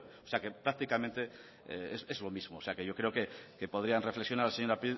o sea que prácticamente es lo mismo o sea yo creo que podrían reflexionar la señora